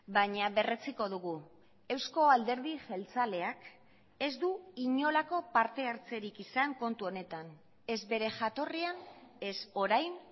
baina berretsiko dugu euzko alderdi jeltzaleak ez du inolako parte hartzerik izan kontu honetan ez bere jatorrian ez orain